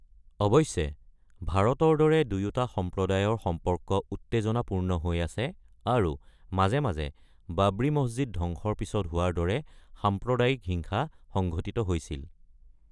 অৱশ্যে, ভাৰতৰ দৰে দুয়োটা সম্প্ৰদায়ৰ সম্পৰ্ক উত্তেজনাপূৰ্ণ হৈ আছে আৰু মাজে মাজে বাবৰি মছজিদ ধ্বংসৰ পিছত হোৱাৰ দৰে সাম্প্ৰদায়িক হিংসা সংঘটিত হৈছিল।